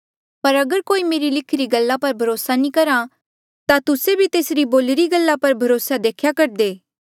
पर अगर कोई मेरी लिखिरी इन्हा गल्ला पर भरोसा नी करहा ता तुस्से भी तेसरी बोलिरी गल्ला पर भरोसा देखेया करदे